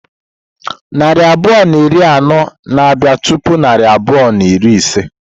Narị abụọ na iri anọ na bia tupu narị abụọ na iri ise.